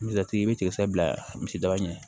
Misiratigi bɛ tigɛsa bila misidaba ɲɛ